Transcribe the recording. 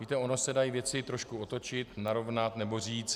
Víte, ony se dají věci trošku otočit, narovnat nebo říct.